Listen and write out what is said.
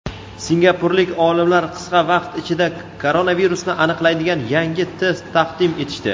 Singapurlik olimlar qisqa vaqt ichida koronavirusni aniqlaydigan yangi test taqdim etishdi.